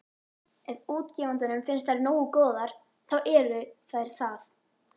Ef útgefandanum finnst þær nógu góðar, þá eru þær það.